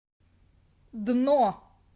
дно